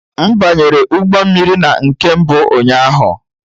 M banyere ụgbọ mmiri na nke mbụ ụnyaahụ